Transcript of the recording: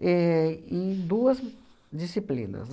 éh em duas disciplinas.